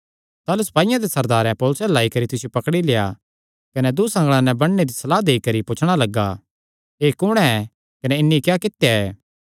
ताह़लू सपाईयां दे सरदारे पौलुसे अल्ल आई करी तिसियो पकड़ी लेआ कने दूँ सगल़ां नैं बन्नणे दी सलाह देई करी पुछणा लग्गा एह़ कुण ऐ कने इन्हीं क्या कित्या ऐ